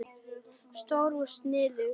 Stór í sniðum.